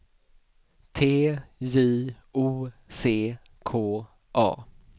T J O C K A